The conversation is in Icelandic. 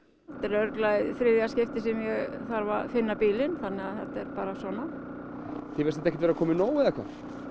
þetta er örugglega í þriðja skiptið sem ég þarf að finna bílinn þannig að þetta er bara svona þér finnst þetta ekkert komið nóg eða hvað